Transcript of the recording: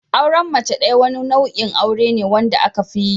Auren mace ɗaya wani nau'in aure ne wanda aka fiyi